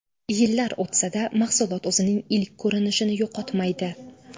Yillar o‘tsa-da, mahsulot o‘zining ilk ko‘rinishini yo‘qotmaydi.